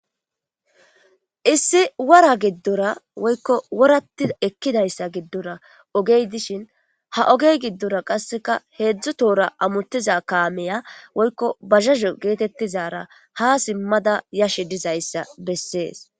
issi wora giddora woykko worati ekkidayssa giddora ogey dishin ha ogey giddora qasseka heedzdzu toora amuttiza kaameya woykko bazazo geetettizara ha simmada yashe dizayssa bessees